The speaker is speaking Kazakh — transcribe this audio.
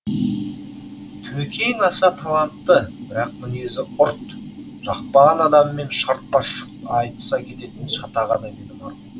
төкең аса талантты бірақ мінезі ұрт жақпаған адамымен шартпа шұрт айтыса кететін шатақ адам еді марқұм